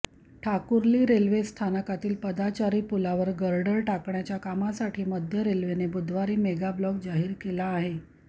Thakurli railway स्थानकातील पादचारी पुलावर गर्डर टाकण्याच्या कामासाठी मध्य रेल्वेनं बुधवारी मेगाब्लॉक जाहीर केला आहे